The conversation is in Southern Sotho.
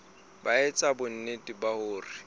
ba etsa bonnete ba hore